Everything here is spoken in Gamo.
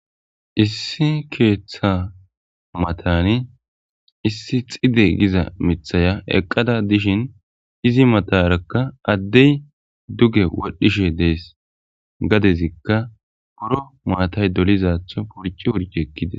Issi keththa matanni issi xide gizaiiththaya eqqada dishin izi matarakka addey dugge wodhishe dees gaddezikka buro maatay dolizatho hooxi hooxi ekkides